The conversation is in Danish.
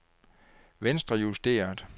venstrejusteret